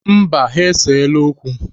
Mba, ha eseela okwu.